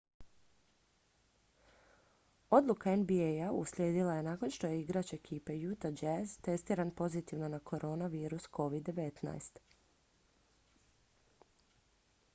odluka nba-a uslijedila je nakon što je igrač ekipe utah jazz testiran pozitivno na koronavirus covid-19